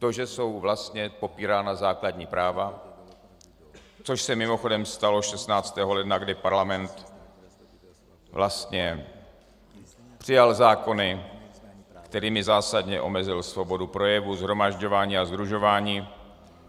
To, že jsou vlastně popírána základní práva, což se mimochodem stalo 16. ledna, kdy parlament vlastně přijal zákony, kterými zásadně omezil svobodu projevu, shromažďování a sdružování.